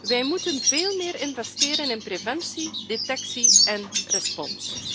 Wij moeten veel meer investeren in preventie, detectie en respons.